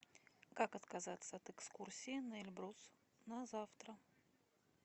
как отказаться от экскурсии на эльбрус на завтра